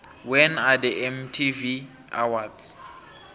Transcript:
when are the mtv awards